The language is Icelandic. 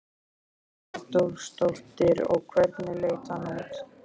Hugrún Halldórsdóttir: Og hvernig leit hann út?